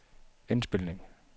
indspilning